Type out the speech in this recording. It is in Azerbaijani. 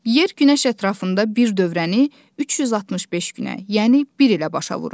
Yer günəş ətrafında bir dövrəni 365 günə, yəni bir ilə başa vurur.